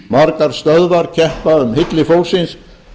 margar stöðvar keppa um hylli fólksins